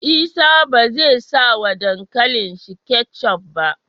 Isa bezai sa wa dankalin shi ketchup ba